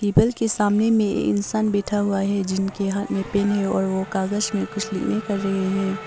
Table के सामने में इंसान बैठा हुआ है जिनके हाथ में पेन है और वह कागज में कुछ लिखने कर रहे हैं।